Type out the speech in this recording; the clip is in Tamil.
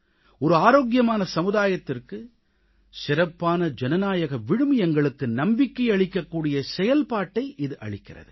ஒரு ஆரோக்கியமான சமுதாயத்திற்கு சிறப்பான ஜனநாயக விழுமியங்களுக்கு நம்பிக்கை அளிக்க கூடிய செயல்பாட்டை இது அளிக்கிறது